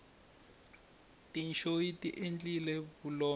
tinyoxi tiendlile vulombe